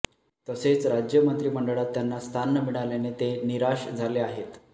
तसेच राज्य मंत्रिमंडळात त्यांना स्थान न मिळाल्याने ते निराश झाले आहेत